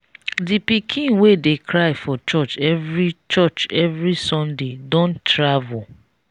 the pikin wey dey cry for church every church every sunday don travel